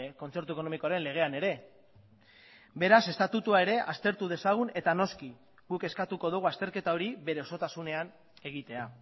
kontzertu ekonomikoaren legean ere beraz estatutua ere aztertu dezagun eta noski guk eskatuko dugu azterketa hori bere osotasunean egitea